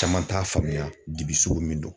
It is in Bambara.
Caman t'a faamuya dibi sugu min don